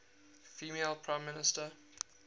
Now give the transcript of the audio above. female prime minister